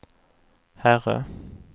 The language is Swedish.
herre